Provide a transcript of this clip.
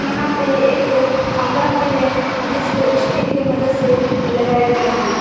यहां पे एक खंभा भी है जिसको स्टील के मदद से लगाया गया है।